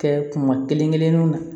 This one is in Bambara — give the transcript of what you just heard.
Kɛ kuma kelen kelen kelennu na